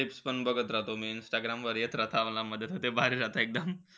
Clips पण बघत राहतो मी. इंस्टाग्रामवर येत राहता मला मध्ये-मध्ये भारी राहता एकदम.